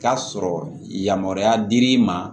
K'a sɔrɔ yamaruya dir'i ma